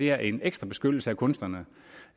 er en ekstra beskyttelse af kunstnerne